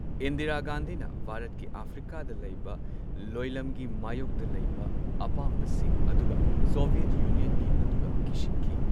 ꯏꯟꯗꯤꯔꯥ ꯒꯥꯟꯙꯤꯅ ꯚꯥꯔꯠꯀꯤ ꯑꯐ꯭ꯔꯤꯀꯥꯗ ꯂꯩꯕ ꯂꯣꯏꯂꯝꯒꯤ ꯃꯥꯌꯣꯛꯇ ꯂꯩꯕ ꯑꯄꯥꯝꯕꯁꯤꯡ ꯑꯗꯨꯒ ꯁꯣꯚꯤꯌꯦꯠ ꯌꯨꯅꯤꯌꯟꯒꯤ ꯑꯗꯨꯒ ꯀꯤꯁꯤꯟꯈꯤ꯫